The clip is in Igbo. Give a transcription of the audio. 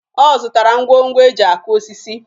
Ọ zụtara ngwongwo e ji akụ osisi